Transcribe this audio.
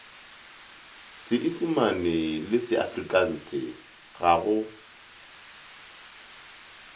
seisimane le seafrikanse ga go